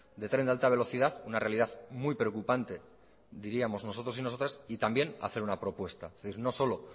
del tren de alta velocidad una realidad muy preocupante diríamos nosotros y nosotras y también hacer una propuesta es decir no solo